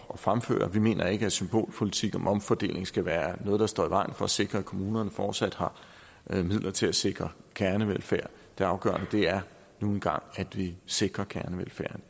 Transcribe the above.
at fremføre vi mener ikke at symbolpolitik om omfordeling skal være noget der står i vejen for at sikre at kommunerne fortsat har midler til at sikre kernevelfærd det afgørende er nu engang at vi sikrer kernevelfærden